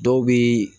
Dɔw bi